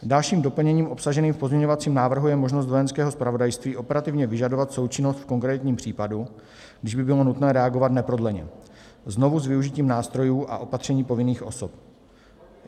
Dalším doplněním obsaženým v pozměňovacím návrhu je možnost Vojenského zpravodajství operativně vyžadovat součinnost v konkrétním případu, když by bylo nutné reagovat neprodleně, znovu s využitím nástrojů a opatření povinných osob.